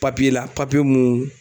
Papiye la papiye mun